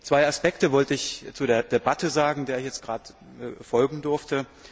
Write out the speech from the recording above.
Zwei Aspekte wollte ich zu der Debatte sagen, der ich jetzt gerade folgen durfte.